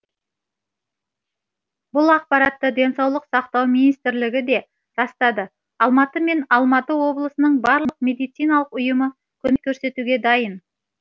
бұл ақпаратты денсаулық сақтау министрлігі де растады алматы мен алматы облысының барлық медициналық ұйымы көмек көрсетуге дайын